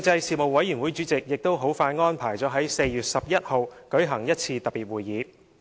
事務委員會主席亦很快安排了在4月11日舉行一次特別會議。